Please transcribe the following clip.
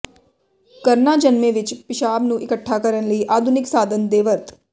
ਕਰਨਾ ਜਨਮੇ ਵਿਚ ਪਿਸ਼ਾਬ ਨੂੰ ਇਕੱਠਾ ਕਰਨ ਲਈ ਆਧੁਨਿਕ ਸਾਧਨ ਦੇ ਵਰਤ